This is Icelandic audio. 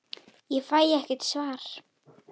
Ég fæ ekkert svar.